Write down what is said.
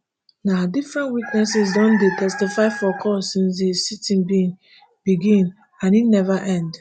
na different witnesses don dey testify for court since di siting bin begin and e neva end